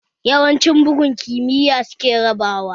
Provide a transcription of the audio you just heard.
Yawancin bugun kimiyya suke raba wa